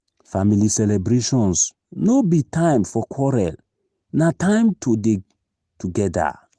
family celebrations no be time for quarrel na time to dey together.